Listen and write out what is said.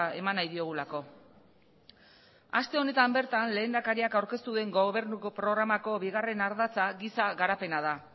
eman nahi diogulako aste honetan bertan lehendakariak aurkeztu duen gobernuko programako bigarren ardatza giza garapena da